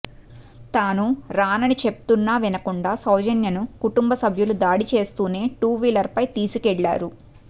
తానూ రానని చెప్తున్నా వినకుండా సౌజన్యను కుటుంబసభ్యులు దాడి చేస్తూనే టూ వీలర్పై తీసుకెళ్ళారు